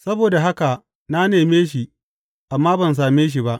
Saboda haka na neme shi, amma ban same shi ba.